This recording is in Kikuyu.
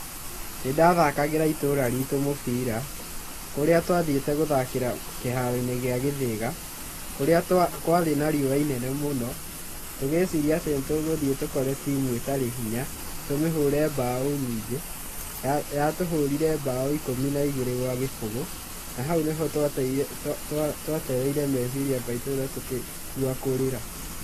Nĩ ndathakagĩra itũũra ritũ mũbira, kũrĩa twathiĩte gũthakĩra kĩharo-inĩ gĩa Gĩthĩga, kũrĩa kwarĩ na riũa inene mũno. Tũgĩciria atĩ nĩ tũgũthiĩ tũkore timu ĩtarĩ hinya tũmĩhũre mbaũ nyingĩ, yatũhũrire mbaũ ikũmi na ĩgĩrĩ gwa gĩbũgũ na hau nĩho twatereire meciria maitũ na tũkĩigua kũrĩra.